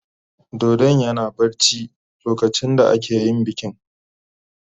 Dodon yana barci lokacin da ake yin bikin.